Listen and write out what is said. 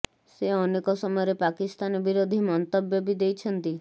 ସେ ଅନେକ ସମୟରେ ପାକିସ୍ତାନ ବିରୋଧୀ ମନ୍ତବ୍ୟ ବି ଦେଇଛନ୍ତି